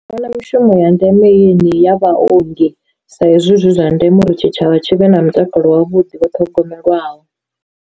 Mishumo ya ndeme i yeneyi ya vhaongi sa izwi zwi zwa ndeme uri tshitshavha tshivhe na mutakalo wavhuḓi vho ṱhogomelwaho.